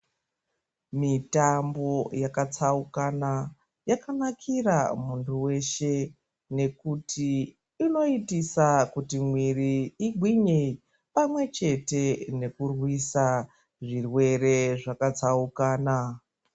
Mitambo yakatsaukana yakanakira muntu weshe nekuti inoitisa kuti mwiiri igwinye pamwechete nekurwisa zvirwere zvakatsaukana.